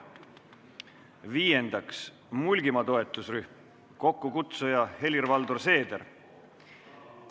Viiendaks, Mulgimaa toetusrühm, kokkukutsuja on Helir-Valdor Seeder.